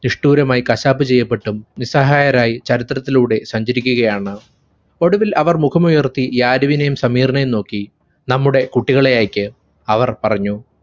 നിഷ്ട്ടൂരമായി കശാപ്പ്‌ ചെയ്യപ്പെട്ടും നിസ്സഹായരായി ചരിത്രത്തിലൂടെ സഞ്ചരിക്കുകയാണ്. ഒടുവിൽ അവർ മുഖമുയർത്തി യാരിവിനെയും സമീറിനെയും നോക്കി. നമ്മുടെ കുട്ടികളെയയയ്ക്ക്. അവർ പറഞ്ഞു.